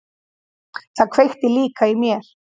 Það kveikti líka í mér.